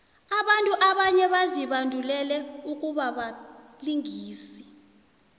abantu abanye bazibandulele ukubabalingisi